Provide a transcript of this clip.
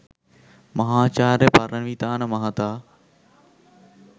මහාචාර්ය පරණවිතාන මහතා